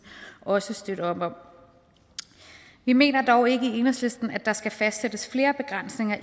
også støtte op om vi mener dog ikke i enhedslisten at der skal fastsættes flere begrænsninger